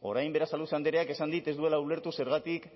orain berasaluze andreak esan dit ez duela ulertu zergatik